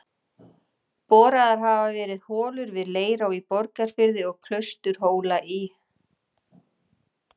Boraðar hafa verið holur við Leirá í Borgarfirði og Klausturhóla í